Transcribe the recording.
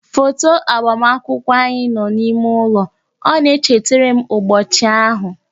Foto agbamakwụkwọ anyị nọ n'ime ụlọ, ọ na-echeterem ụbọchị ahụ